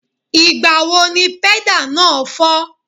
Ìgbà wo ni pẹ́dà náà fọ́?